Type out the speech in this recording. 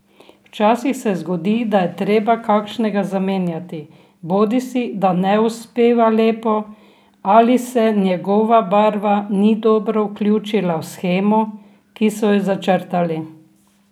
Včasih se zgodi, da je treba kakšnega zamenjati, bodisi da ne uspeva lepo ali se njegova barva ni dobro vključila v shemo, ki so jo začrtali.